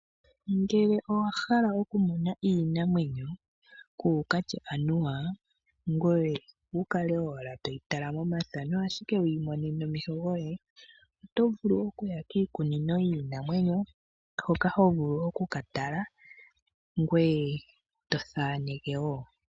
Ngele owahala oku mona iinamwenyo kukatye anua ngoe kukale owala toyi tala momafano ashike wiimone nomeho goye. Otovulu okuya kiikunino yiinamwenyo hoka hovulu oku katala ngoe tothaneke woo.